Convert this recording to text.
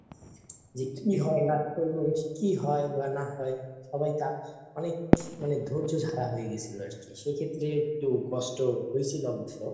যে কি হয় না কি হয় বা না হয় সবাই তা মানে মনে ধৈর্য ধরা হয়ে গেছিল আর কি সেই ক্ষেত্রে একটু কষ্ট হয়েছিল অবশ্য